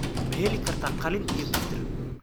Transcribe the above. Ma heli kartaa qalin iyo tirtir?